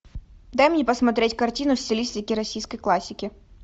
дай мне посмотреть картину в стилистике российской классики